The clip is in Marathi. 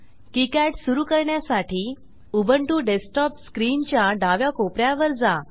किकाड सुरू करण्यासाठी उबुंटू डेस्कटॉप स्क्रीनच्या डाव्या कोप यात वर जा